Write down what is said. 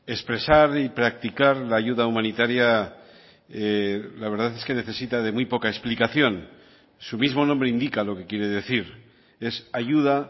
expresar y practicar la ayuda humanitaria la verdad es que necesita de muy poca explicación su mismo nombre indica lo que quiere decir es ayuda